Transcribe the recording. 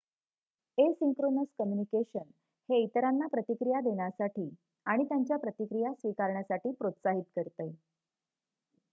asynchronous communication हे इतरांना प्रतिक्रिया देण्यासाठी आणि त्यांच्या प्रतिक्रिया स्वीकारण्यासाठी प्रोत्साहित करते